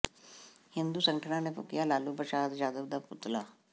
ਹਿੰਦੂ ਸੰਗਠਨਾਂ ਨੇ ਫੂਕਿਆ ਲਾਲੂ ਪ੍ਰਸ਼ਾਦ ਯਾਦਵ ਦਾ ਪੁਤਲਾ